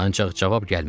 Ancaq cavab gəlmədi.